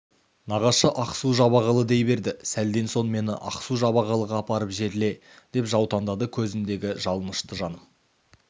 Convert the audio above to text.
нағашы ақсу-жабағылы дей берді сәлден соң мені ақсу-жабағылыға апарып жерле деп жаутаңдады көзіндегі жалыныштан жаным